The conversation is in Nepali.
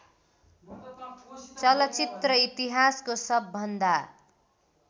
चलचित्र इतिहासको सबभन्दा